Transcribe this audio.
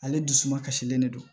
Ale dusu suma kasilen de don